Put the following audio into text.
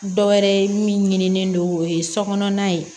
Dɔ wɛrɛ ye min ɲinilen don o ye so kɔnɔna ye